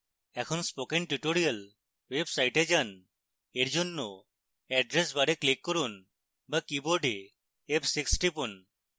এখন spoken tutorial website যান এরজন্য অ্যাড্রেস বারে ক্লিক করুন বা কীবোর্ডে f6 টিপুন